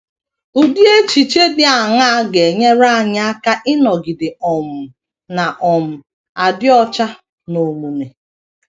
Ụdị echiche dị aṅaa ga - enyere anyị aka ịnọgide um na - um adị ọcha n’omume?